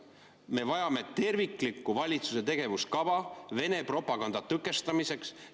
Me vajame terviklikku valitsuse tegevuskava Vene propaganda tõkestamiseks.